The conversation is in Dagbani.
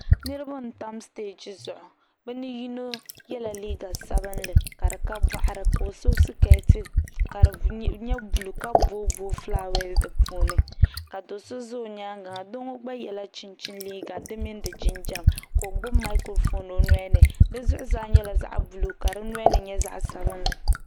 Niraba n tam stɛji zuɣu bi ni yino yɛla liiga sabinli ka di ka boɣari ka o so skɛti buluu ka booi booi fulaawɛs di puuni ka do so ʒɛ o nyaangi ha doo ŋo gba yɛla chinchin liiga di mini di jinjɛm ka o gbubi maikiro foon o nolini di zuɣusaa nyɛla zaɣ buluu ka di nolini nyɛ zaɣ sabinli